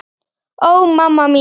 Ó, mamma mín.